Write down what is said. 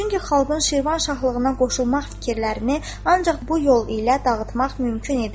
Çünki xalqın Şirvan şahlığına qoşulmaq fikirlərini ancaq bu yol ilə dağıtmaq mümkün idi.